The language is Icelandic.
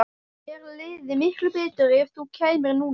Mér liði miklu betur ef þú kæmir núna